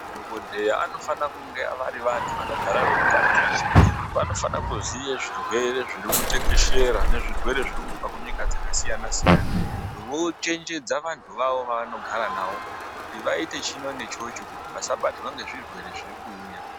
Madhokodheya anofana kunge vari vantu vanogara veitaticha. Vanofana kuziya zvirwere zviri kutekeshera nezvirwere zvirikubva kunyika dzakasiyana -siyana vochenjedza vantu vavo vavanogara navo kuti vaite chino nechocho kuti vasabatirwa ngezvirwere zvirikuuya.